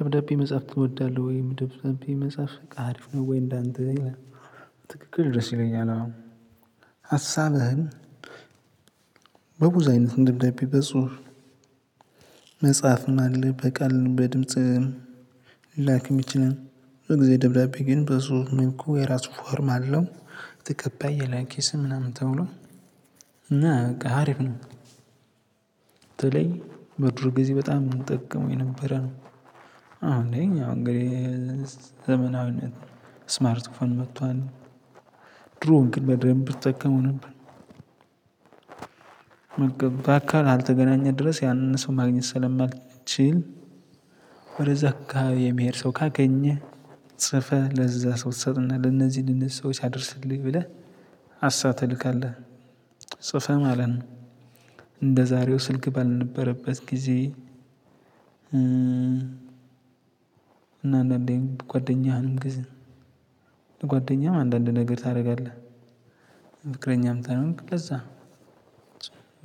ደብዳቤ መጽሐፍ ትወዳለህ ወይም ደብዳቤ መጽሐፍ አሪፍ ነው ወይ እንዳንተ ይላል? ትክክል ድረስ ይለኛል። አሁን ሀሳብህን በብዙ አይነት ደብዳቤ በፁፍ። መጽሐፍ አለ በቃል በድምጽ ሊላክም ይችላል። ብዙ ጊዜ ደብዳቤ በፁሁፍ ከሆነ ግን የራሱ ፎርም አለው ተቀባይ የላኪ ስም ምናምን ተብሎ እና በቃ አሪፍ ነው። በተለይ በድሮ ጊዜ በጣም እንጠቀመው የነበረ ነው። አሁን ላይ እንግዲህ ዘመናዊነት ስማርት ፎን መጥቷል። ድሮ ግን በደንብ እጠቀመው ነበር። በአካል እስካልተገናኘህ ድረስ ያንን ሰው ማግኘት ስለማትችል ወደዛ አካባቢ የሚሄድ ሰው ካገኘህ ጽፈህ ለዛ ሰው ትሰጥና ለነዚህ ለነዚህ ሰዎች አድርስልኝ ብለህ ሀሳብ ትልካለህ ጽፈህ ማለት ነው። እንደዛሬው ስልክ ባልነበረበት ጊዜ። እና አንዳንዴም ጓደኛህንም ግዝ ለጓደኛህም አንዳንድ ነገር ታደርጋለህ ፍቅረኛም ታይምቅ ለዛ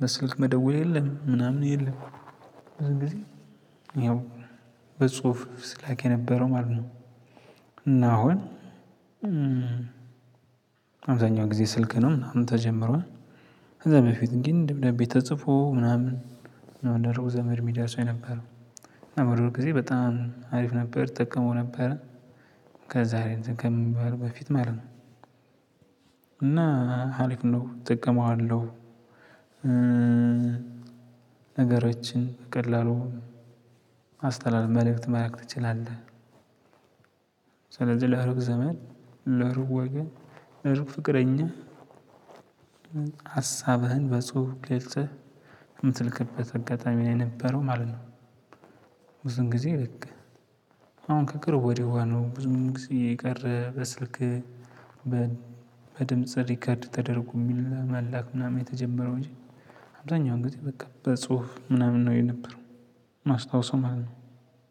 በስልክ መደወል የለም ምናምን የለም። ያን ጊዜ ይኸው በጽሁፍ ሲላክ የነበረው ማለት ነው። እና አሁን አብዛኛው ጊዜ ስልክ ነው ምናምን ተጀምሯል። ከዛ በፊት ግን ደብዳቤ ተጽፎ ምናምን ነው ለሩቅ ዘመድ የሚደርሰው የነበረው ነበር የሆነ ጊዜ በጣም አሪፍ ነበር እጠቀመው ነበረ። ከዛሬ ከምንባል በፊት ማለት ነው። እና አሪፍ ነው እጠቀመዋለሁ። ነገሮችን በቀላሉ ማስተላለፍ መልእክት መላክ ትችላለህ። ስለዚህ ለሩቅ ዘመን ለሩቅ ወገን ለሩቅ ፍቅረኛ ሀሳብህን በጽሁፍ ገልፀህ የምትልክበት አጋጣሚ ላይ የነበረው ማለት ነው። ብዙን ጊዜ ልቅ ከቅርብ ወዲህ ነው ብዙ ጊዜ የቀረ በስልክ። በድምጽ ሪከርድ ተደርጎ መላክ ምናምን የተጀመረው እንጂ አብዛኛው ጊዜ በቃ በጽሁፍ ምናምን ነው የነበረው የማስታዉሠው ማለት ነው።